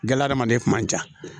Gla adamaden kuma ja